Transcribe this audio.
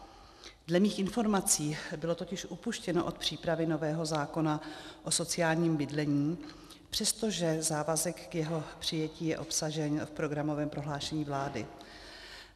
Dle mých informací bylo totiž upuštěno od přípravy nového zákona o sociálním bydlení, přestože závazek k jeho přijetí je obsažen v programovém prohlášení vlády.